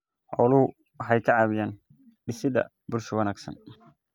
Xooluhu waxay ka caawiyaan dhisidda bulsho wanaagsan.